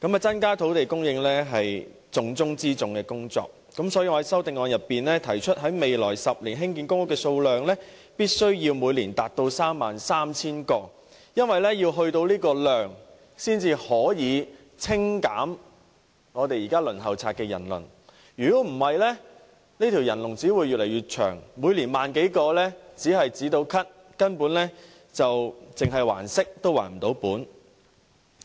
增加土地供應是重中之重的工作，所以，我在修正案中提出在未來10年興建公屋的數量必須每年達到 33,000 個，因為達到這個數量，才可以清減現時公屋輪候冊上的人數，否則這條人龍只會越來越長，政府每年只提供1萬多個公屋單位，只能"止咳"，只能還息不能還本。